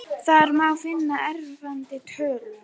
Þar má finna eftirfarandi töflu: